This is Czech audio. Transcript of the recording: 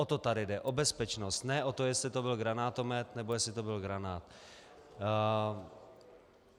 O to tady jde, o bezpečnost, ne o to, jestli to byl granátomet, nebo jestli to byl granát.